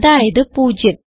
അതായത് 0